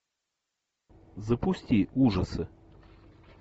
запусти ужасы